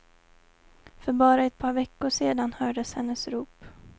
För bara ett par veckor sedan hördes hennes rop.